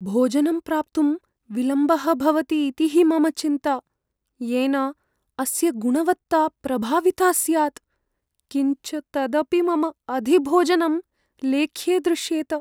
भोजनं प्राप्तुं विलम्बः भवति इति हि मम चिन्ता। येन अस्य गुणवत्ता प्रभाविता स्यात्। किञ्च तदपि मम अधिभोजनं लेख्ये दृश्येत।